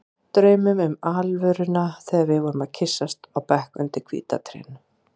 Draumnum um alvöruna þegar við vorum að kyssast á bekk undir hvíta trénu.